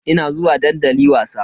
Ina zuwa dandali wasa.